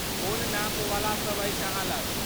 कोन नापवला सब अछि अहाँ लग?